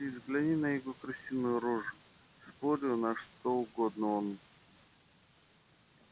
да ты взгляни на его крысиную рожу спорю на что угодно он